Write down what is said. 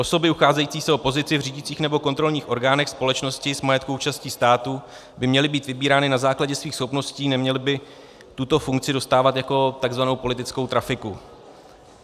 Osoby ucházející se o pozici v řídících nebo kontrolních orgánech společností s majetkovou účastí státu by měly být vybírány na základě svých schopností, neměly by tuto funkci dostávat jako takzvanou politickou trafiku.